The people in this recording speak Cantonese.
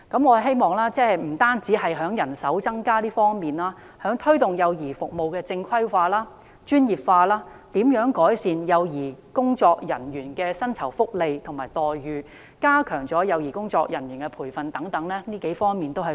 我希望當局不單增加人手，也加強推動幼兒服務正規化和專業化，改善幼兒工作人員的薪酬福利及待遇和加強幼兒工作人員的培訓等數個方面。